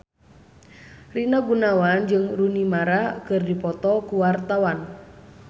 Rina Gunawan jeung Rooney Mara keur dipoto ku wartawan